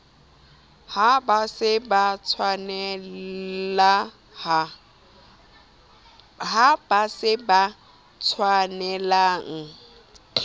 ha ba se ba tshwanelaha